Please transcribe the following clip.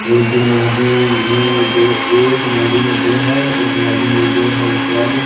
ये तो नदीम हैं दो एक नदी में दो है एक नदी में दो है उसके बाद--